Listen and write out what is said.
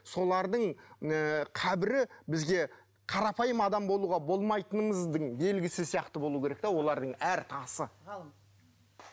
солардың ы қабірі бізге қарапайым адам болуға болмайтынымыздың белгісі сияқты болу керек те олардың әр тасы